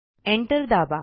enter दाबा